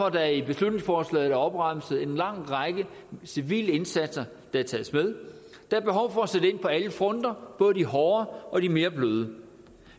at der i beslutningsforslaget er opremset en lang række civile indsatser der tages med der er behov for at sætte ind på alle fronter både de hårde og de mere bløde